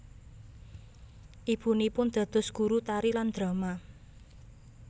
Ibunipun dados guru tari lan drama